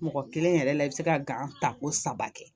Mɔgɔ kelen yɛrɛ la i bɛ se ka ta ko saba kɛ